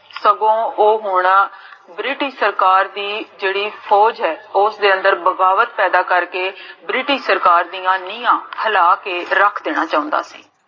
ਸਗੋਂ, ਓਹ ਹੁਣ british ਸਰਕਾਰ ਦੀ, ਜੇਹੜੀ ਫੋਜ ਹੈ, ਓਸ ਦੇ ਅੰਦਰ ਬਗਾਵਤ ਪੈਦਾ ਕਰ ਕੇ, british ਸਰਕਾਰ ਦੀਆਂ ਨੀਆਂ, ਰਲਾ ਕੇ ਰਖ ਦੇਣਾ ਚੌਂਦਾ ਸੀ